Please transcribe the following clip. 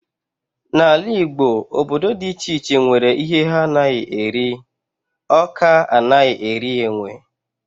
N'ala Igbo, obodo dị iche iche nwere ihe ha anaghị eri, Awka anaghị eri enwe.